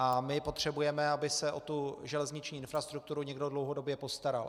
A my potřebujeme, aby se o tu železniční infrastrukturu někdo dlouhodobě postaral.